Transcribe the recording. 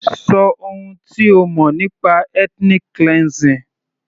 Ṣọ ohun tí o mọ̀ nípa ethnic cleansing.